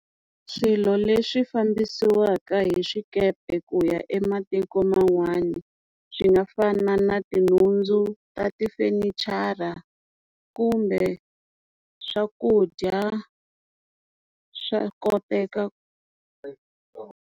Swilo leswi fambisiwaka hi swikepe ku ya ematiko man'wani swi nga fana na tinhundzu ta tifenichara kumbe swakudya swa koteka .